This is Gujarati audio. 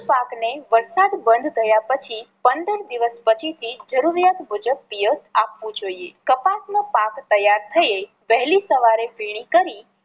પાક ને વરસાદ બંધ થયા પછી પંદર દિવસ પછી થી જરૂરિયાત મુજબ પિયત આપવું જોઈએ. કપાસ નો પાક તૈયાર થયે વહેલી સવારે ફીણી કરી